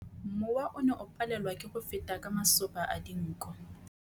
Mowa o ne o palelwa ke go feta ka masoba a dinko.